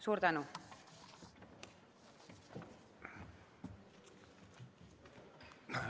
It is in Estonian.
Suur tänu!